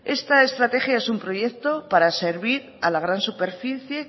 esta estrategia es un proyecto para servir a la gran superficie